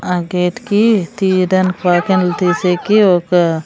ఆ గేట్ కి తీధన్ తీసికి ఒక--